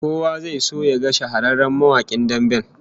Kowa zai so yaga shahararren mawakin damben